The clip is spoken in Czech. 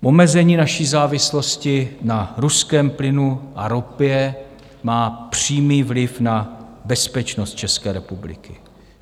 Omezení naší závislosti na ruském plynu a ropě má přímý vliv na bezpečnost České republiky.